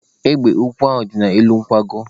Egbe ukwu nọ n'elu nkwago.